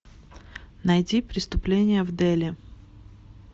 найти преступление в дели